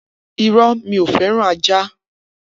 Iro, mi o feran àjá